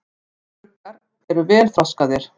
Eyruggar eru vel þroskaðir.